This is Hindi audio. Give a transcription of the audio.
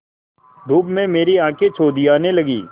धूप में मेरी आँखें चौंधियाने लगीं